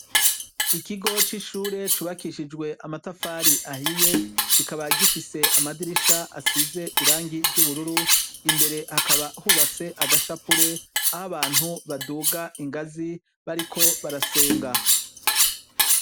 Ikigo c'ishure cubakishijwe amatafari ahiye kikaba gifise amadirisha asize irangi ry'ubururu imbere hakaba hubatse agashapure aho abantu baduga ingazi bariko barasenga.